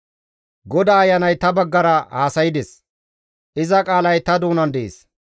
«GODAA Ayanay ta baggara haasaydes; iza qaalay ta doonan dees.